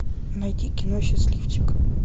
найти кино счастливчик